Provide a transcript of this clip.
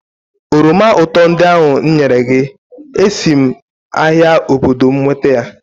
oroma ụtọ ndị ahụ m nyere gị, esi m ahịa obodo m nweta ya